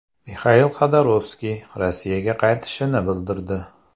Mixail Xodorkovskiy Rossiyaga qaytishini bildirdi.